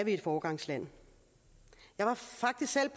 et foregangsland jeg var faktisk selv